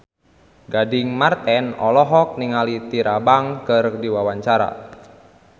Gading Marten olohok ningali Tyra Banks keur diwawancara